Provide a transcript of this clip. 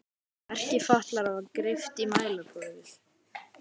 Merki fatlaðra var greypt í mælaborðið.